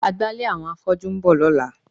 Agbálẹ̀ àwọn afọ́jú ń bọ̀ lọ́la.